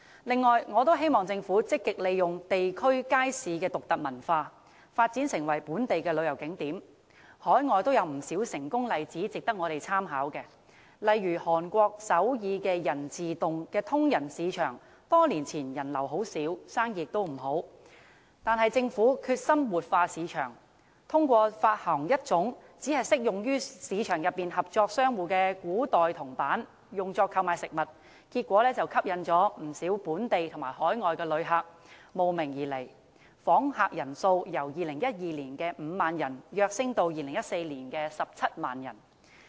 另外，我希望政府積極利用地區街市的獨特文化，發展成為本地的旅遊景點，海外亦有不少成功例子值得我們參考，例如韓國首爾仁寺洞的通仁市場多年前人流很少、生意也不好，但是，政府決心活化市場，發行一種只適用於市場內合作商戶的古代銅板，用作購買食物，結果吸引不少本地和海外旅客慕名而來，訪客人數由2012年的5萬人躍升到2014年的17萬人。